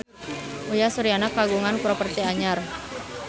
Uyan Suryana kagungan properti anyar